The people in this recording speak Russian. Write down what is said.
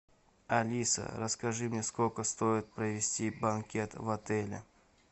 алиса расскажи мне сколько стоит провести банкет в отеле